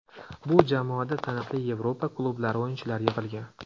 Bu jamoada taniqli Yevropa klublari o‘yinchilari yig‘ilgan.